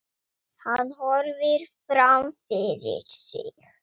Hann horfir fram fyrir sig.